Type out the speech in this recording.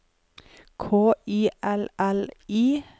K I L L I